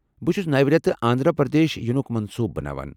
بہٕ چھس نوِ رٮ۪تہٕ آنٛدھرا پردیش ینُک منصوُبہٕ بناوان ۔